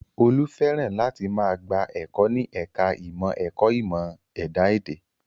Olú fẹ́ràn láti máa gba ẹ̀kọ́ ní ẹ̀ka ìmọ̀ ẹ̀kọ́ ìmọ̀ ẹ̀dá èdè